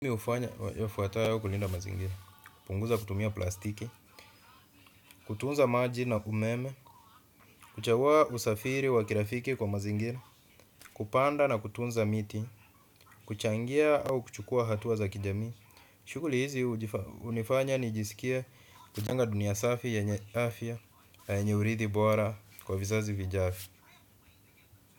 Mimi hufanya yafuatayo kulinda mazingira hupunguza kutumia plastiki. Kutunza maji na umeme. Kuchagua usafiri wa kirafiki kwa mazingira. Kupanda na kutunza miti. Kuchangia au kuchukua hatua za kijamii. Shughuli hizi hunifanya nijisikie huchangia dunia safi yenye afya na yenye urithi bora kwa vizazi vijavyo.